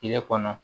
Tile kɔnɔ